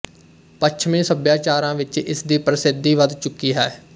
ਪੱਛਮੀ ਸਭਿਆਚਾਰਾਂ ਵਿੱਚ ਇਸਦੀ ਪ੍ਰਸਿੱਧੀ ਵਧ ਚੁੱਕੀ ਹੈ